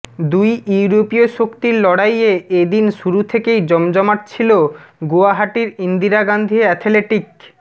দুই ইউরোপীয় শক্তির লড়াইয়ে এ দিন শুরু থেকেই জমজমাট ছিল গুয়াহাটির ইন্দিরা গাঁধী অ্যাথেলেটিক